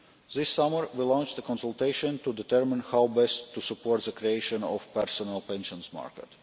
This summer we launched a consultation to determine how best to support the creation of a personal pensions market.